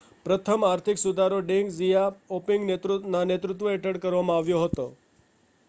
પ્રથમ આર્થિક સુધારા ડેંગ ઝિયાઓપિંગના નેતૃત્વ હેઠળ કરવામાં આવ્યા હતા